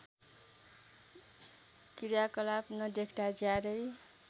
क्रियाकलाप नदेख्दा ज्यादै